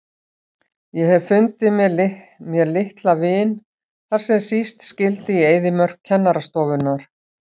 Ég hef fundið mér litla vin þar sem síst skyldi, í eyðimörk kennarastofunnar.